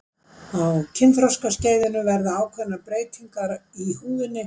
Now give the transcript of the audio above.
á kynþroskaskeiðinu verða ákveðnar breytingar í húðinni